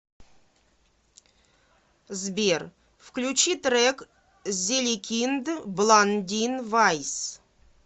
сбер включи трек зеликинд бландин вайс